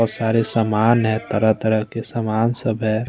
और सारे सामान हैं तरह तरह के सामान सब हैं।